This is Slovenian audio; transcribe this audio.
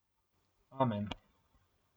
Amen!